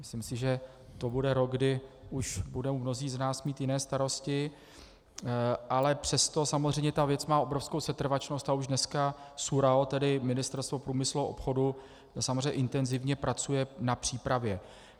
Myslím si, že to bude rok, kdy už budou mnozí z nás mít jiné starosti, ale přesto samozřejmě ta věc má obrovskou setrvačnost a už dneska SÚRAO, tedy Ministerstvo průmyslu a obchodu, samozřejmě intenzivně pracuje na přípravě.